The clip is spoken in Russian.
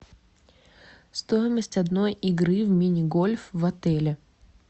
стоимость одной игры в мини гольф в отеле